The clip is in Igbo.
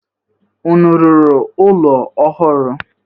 Unu rụrụ ụlọ ọhụrụ?